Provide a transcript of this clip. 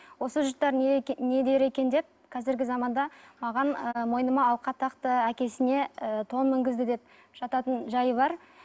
осы жұрттар не дер екен деп қазіргі заманда маған ы мойныма алқа тақты әкесіне ы тон мінгізді деп жататын жайы бар